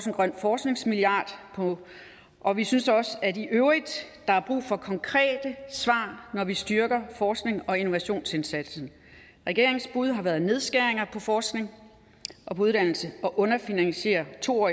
en grøn forskningsmilliard og vi synes i øvrigt også der er brug for konkrete svar når vi styrker forsknings og innovationsindsatsen regeringens bud har været nedskæringer på forskning og uddannelse og at underfinansiere to år